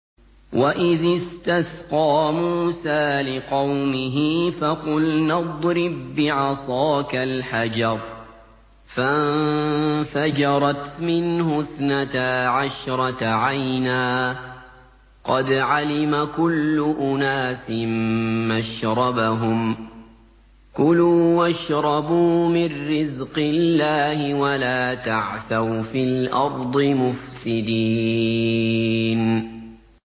۞ وَإِذِ اسْتَسْقَىٰ مُوسَىٰ لِقَوْمِهِ فَقُلْنَا اضْرِب بِّعَصَاكَ الْحَجَرَ ۖ فَانفَجَرَتْ مِنْهُ اثْنَتَا عَشْرَةَ عَيْنًا ۖ قَدْ عَلِمَ كُلُّ أُنَاسٍ مَّشْرَبَهُمْ ۖ كُلُوا وَاشْرَبُوا مِن رِّزْقِ اللَّهِ وَلَا تَعْثَوْا فِي الْأَرْضِ مُفْسِدِينَ